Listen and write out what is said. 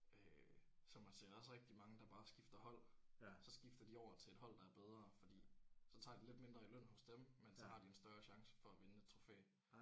Øh så man ser også rigtig mange der bare skifter hold så skifter de over til et hold der er bedre fordi så tager de lidt mindre i løn hos dem men så har de en større chance for at vinde et trofæ